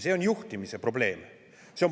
See on juhtimise probleem.